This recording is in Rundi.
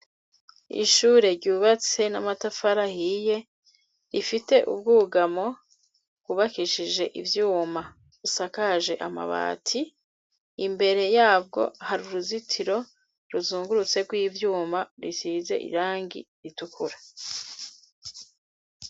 Ishure ryubatse n'amatafarahiye rifite ubwugamo bubakishije ivyuma usakaje amabati imbere yabwo hari uruzitiro ruzungurutserw'ivyuma risize irangi ritukura.